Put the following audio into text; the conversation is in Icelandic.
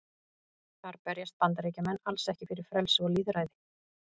Þar berjast Bandaríkjamenn alls ekki fyrir frelsi og lýðræði.